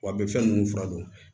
Wa a bɛ fɛn ninnu fura don